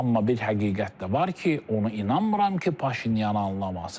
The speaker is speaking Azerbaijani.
Amma bir həqiqət də var ki, onu inanmıram ki, Paşinyan anlamasın.